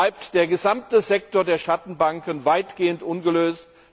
Viertens bleibt der gesamte Sektor der Schattenbanken weitgehend ungelöst.